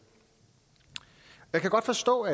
jeg kan godt forstå